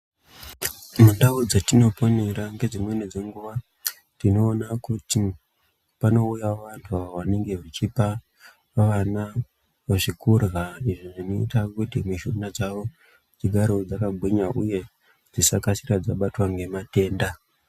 Mundau dzetinoponera ngedzimweni dzenguva tinoona kuti panouyawo vantu vanenge vechipa vana zvekurya, izvo zvinoita kuti mishuna dzavo dzigarevo dzakagwinya uye dzisakasira dzabatwa ngematenda.